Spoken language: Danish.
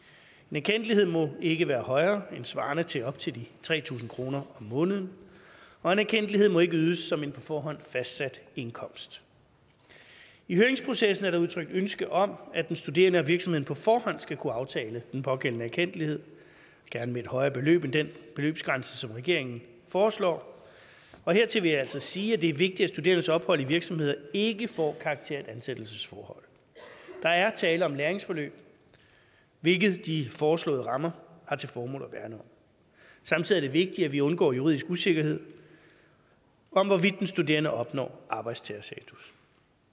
erkendtlighed må ikke være højere end svarende til op til tre tusind kroner om måneden og en erkendtlighed må ikke ydes som en på forhånd fastsat indkomst i høringsprocessen er der udtrykt ønske om at den studerende og virksomheden på forhånd skal kunne aftale den pågældende erkendtlighed gerne med et højere beløb end den beløbsgrænse som regeringen foreslår og hertil vil jeg altså sige at det er vigtigt at studerendes ophold i virksomheder ikke får karakter af ansættelsesforhold der er tale om læringsforløb hvilket de foreslåede rammer har til formål at værne om samtidig er det vigtigt at vi undgår juridisk usikkerhed om hvorvidt den studerende opnår arbejdstagerstatus